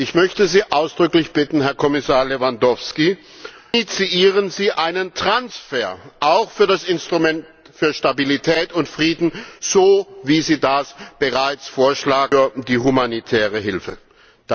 Ich möchte Sie ausdrücklich bitten, Herr Kommissar Lewandowski Initiieren Sie einen Transfer auch für das Instrument für Stabilität und Frieden, so wie Sie das bereits für die humanitäre Hilfe vorschlagen!